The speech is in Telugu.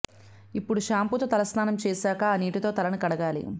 ఇప్పుడు షాంపూతో తలస్నానం చేశాక ఆ నీటితో తలని కడగాలి